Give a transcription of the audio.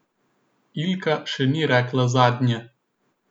Ilka še ni rekle zadnje.